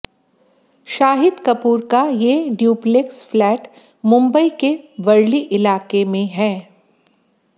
शाहिद कपूर का ये duplex flat Mumbai के वरली इलाके में हैं